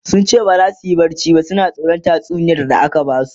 sunce baza suyi barci ba suna tsoran tatsuniyar da aka Basu